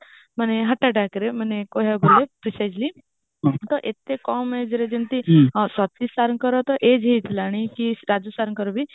ମାନେ heart attackରେ ମାନେ କହିବାକୁ ଗଲେ ମାନେ precisely ତ ଏତେ କମ age ରେ ଯେମିତି ସତୀଶ ସାରଙ୍କ ତ age ହାଇଥିଲାଣି କି ରାଜୁ ସାରଙ୍କ ବି